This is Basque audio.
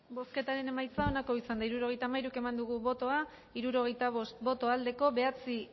bozketaren emaitza onako izan da hirurogeita hamairu eman dugu bozka hirurogeita bost boto aldekoa bederatzi